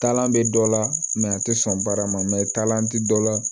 Taalan bɛ dɔ la a tɛ sɔn baara ma tɛ dɔ la